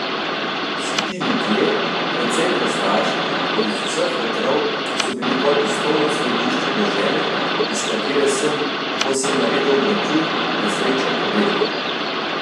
Vsi ti ljudje, precej prostaški in z vseh vetrov, so bili kot tiskovno središče dežele, iz katere sem, ko sem naredil obračun, na srečo pobegnil.